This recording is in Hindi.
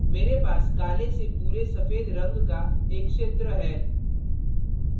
मेरे पास काले से पूरे सफ़ेद रंग का एक क्षेत्र है